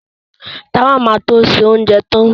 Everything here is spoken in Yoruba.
Táwà ma to ṣe oúnjẹ tán